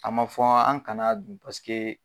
A ma fɔ an kana dun paseke.